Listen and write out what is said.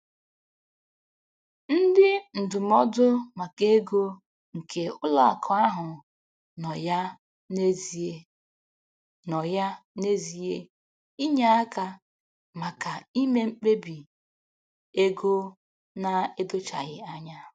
Ndị ndụmọdụ maka ego nke ụlọakụ ahụ nọ ya n'ezie nọ ya n'ezie inye aka maka ime mkpebi ego na-edochaghị anya.